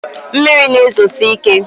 mmiri na-ezosi ike